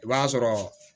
I b'a sɔrɔ